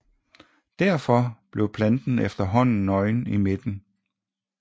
Derfor bliver planten efterhånden nøgen i midten